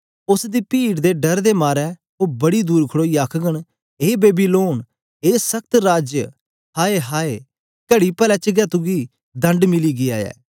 उस्स दी पीड़ दे डर दे मारे ओ बड़ी दूर खड़ोईयै आखघन ए बेबीलोन ए सख्त राज्य आय आय कड़ी पले च गै तुगी दंड मिली गीया ऐ